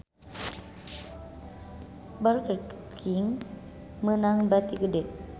Burger King meunang bati gede